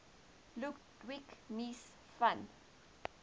ludwig mies van